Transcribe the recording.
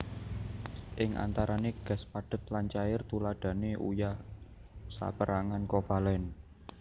Ing antarane gas padhet lan cair Tuladhane uyah saperangan kovalen